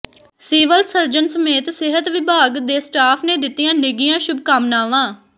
civil surgeon ਸਮੇਤ ਸਿਹਤ ਵਿਭਾਗ ਦੇ ਸਟਾਫ਼ ਨੇ ਦਿਤੀਆਂ ਨਿੱਘੀਆਂ ਸ਼ੁਭਕਾਮਨਾਵਾਂ